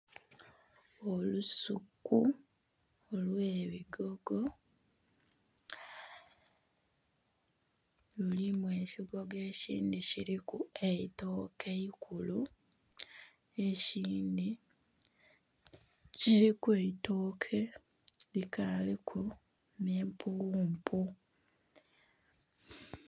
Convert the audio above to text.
Olusuku olwe bigogo lulimu ekigogo ekindhi kiriku eitooke eikulu nhe kindhi kiriku eitooke likaliku ne'mpuwumpu.